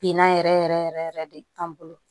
Binna yɛrɛ yɛrɛ yɛrɛ de an bolo